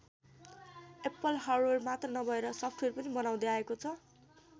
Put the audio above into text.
Apple hardware मात्र नभएर software पनि बनाउदै आएको छ।